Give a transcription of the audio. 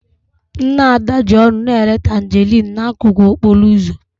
Nne Ada ji ọṅụ na-ere tanjerịn n'akụkụ okporo ụzọ.